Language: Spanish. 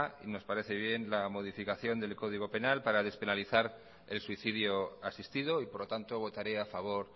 y nos parece bien la modificación del código penal para despenalizar el suicidio asistido y por lo tanto votaré a favor